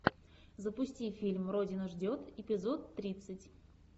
запусти фильм родина ждет эпизод тридцать